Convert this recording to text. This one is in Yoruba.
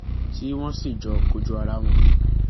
tí wọn sì jọ kojú ara wọn